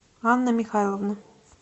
анна михайловна